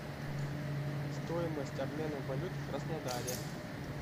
стоимость обмена валют в краснодаре